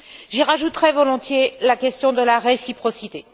J'y rajouterais volontiers la question de la réciprocité.